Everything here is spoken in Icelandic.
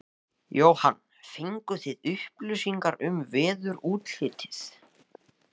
Jóhann: Fenguð þið upplýsingar um veðurútlitið?